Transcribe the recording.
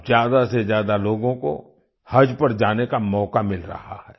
अब ज्यादा से ज्यादा लोगों को हज पर जाने का मौका मिल रहा है